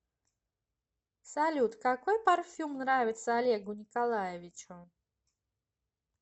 салют какой парфюм нравится олегу николаевичу